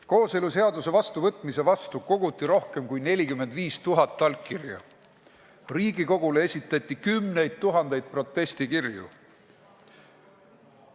Kooseluseaduse vastuvõtmise vastu koguti rohkem kui 45 000 allkirja, Riigikogule esitati kümneid tuhandeid protestikirju.